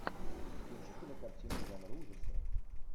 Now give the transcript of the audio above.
включи кинокартину жанр ужасы